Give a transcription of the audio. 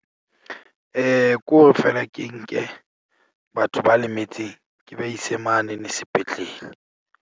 Ke hore feela ke nke batho ba lemetseng ke ba ise mane ne sepetlele.